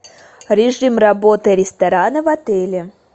режим работы ресторана в отеле